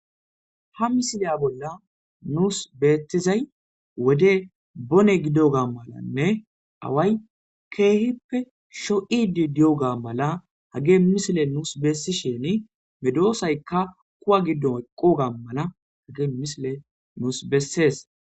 Ha misila nuus beettizay wodey boone gidoga malanne away keehippe shoo'idii diyogga mala haggey misiley nuus besishin medosaykkakuuwa giddon eeqogha mala haggey misiley nuus besses.